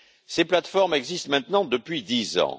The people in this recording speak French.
Ces plateformes existent maintenant depuis dix ans.